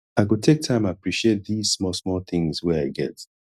i go take time appreciate dese small small tins wey i get